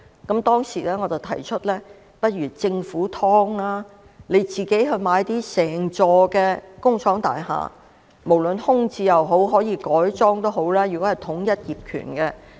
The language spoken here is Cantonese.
我當時提出，不如由政府自己提供"劏房"，政府可購入整幢工廠大廈，是空置的也好，是改裝的也好，只要統一業權便行。